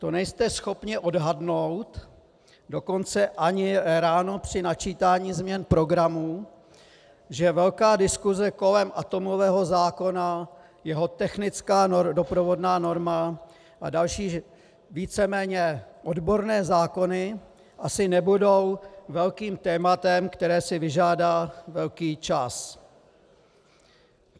To nejste schopni odhadnout, dokonce ani ráno při načítání změn programu, že velká diskuse kolem atomového zákona, jeho technická doprovodná norma a další víceméně odborné zákony asi nebudou velkým tématem, které si vyžádá velký čas?